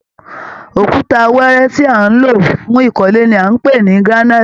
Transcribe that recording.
Òkúta wẹẹrẹ tí à ń lò fún ìkọ́lé ni à ń pè ní granite